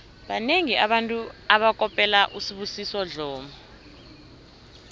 banengi abantu abakopela usibusiso dlomo